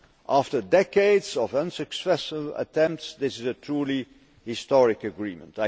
After decades of unsuccessful attempts, this is a truly historic agreement.